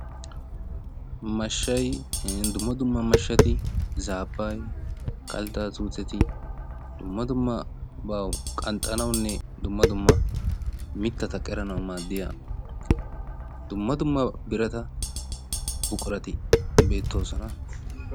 mashshaynne dumma dumma mashshati zaabbee kalttaa tuuteti, dumma dumma ba qanxxanawu dumma dumma mittata qeranawu maadiya dumma dumma biratati buqurati beettoososna.